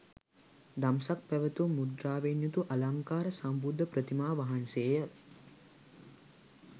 දම්සක් පැවැතුම් මුද්‍රාවෙන් යුතු අලංකාර සම්බුද්ධ ප්‍රතිමා වහන්සේ ය